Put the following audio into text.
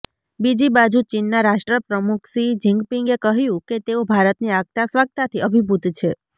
બીજી બાજુ ચીનના રાષ્ટ્રપ્રમુખ શી જિનપિંગે કહ્યું કે તેઓ ભારતની આગતાસ્વાગતાથી અભિભૂત છે